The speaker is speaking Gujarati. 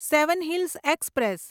seven hills express